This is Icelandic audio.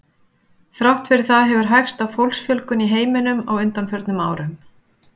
Þrátt fyrir það hefur hægst á fólksfjölgun í heiminum á undanförnum árum.